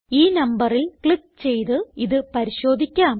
ഈ നമ്പറിൽ ക്ലിക്ക് ചെയ്ത് ഇത് പരിശോധിക്കാം